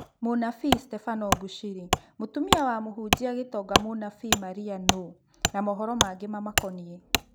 Mũnabii Stebano Mbushĩri: Mũtumia wa mũhunjia 'gĩtonga' Mũnabii Maria nũũ, na mohoro mangĩ mamakoniĩ